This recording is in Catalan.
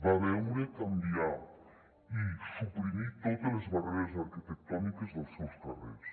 va veure canviar i suprimir totes les barreres arquitectòniques dels seus carrers